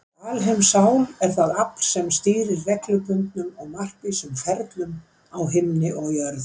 Þessi alheimssál er það afl sem stýrir reglubundnum og markvísum ferlum á himni og jörð.